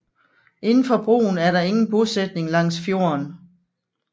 Indenfor broen er der ingen bosætning langs fjorden